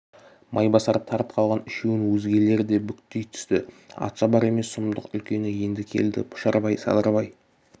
майбасар тарт қалған үшеуін өзгелер де бүктей түсті атшабар емес сұмдық үлкені енді келді пұшарбай садырбай